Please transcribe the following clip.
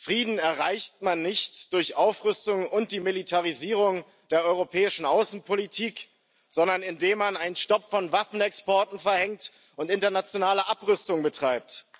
Frieden erreicht man nicht durch Aufrüstung und die Militarisierung der europäischen Außenpolitik, sondern indem man einen Stopp von Waffenexporten verhängt und internationale Abrüstung betreibt.